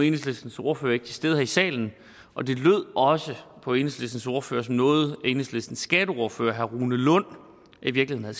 enhedslistens ordfører ikke til stede her i salen og det lød også på enhedslistens ordfører som noget enhedslistens skatteordfører herre rune lund i virkeligheden